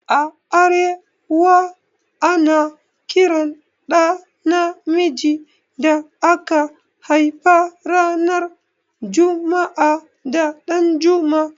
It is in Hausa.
A arewa, ana Kiran ɗa na miji da aka haifa ran jumua'a da 'Danjuma'.